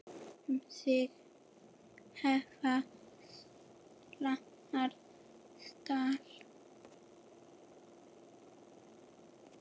Um sig hefja slánar slátt.